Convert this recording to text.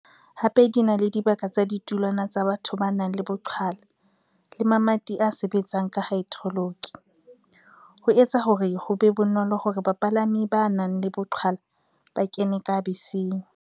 Hape di na le dibaka tsa ditulwana tsa batho ba nang le boqhwala le mamati a sebetsang ka haedroloki, ho etsa hore ho be bonolo hore bapala mi ba nang le boqhwala ba kene ka beseng.